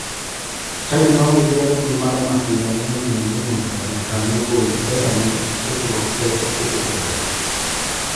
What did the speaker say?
Chadi maonge gi agulu mar masira ne ochuno ni nyaka jakanyo gol pesane e kirope e sechego.